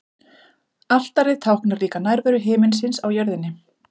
Altarið táknar líka nærveru himinsins á jörðinni.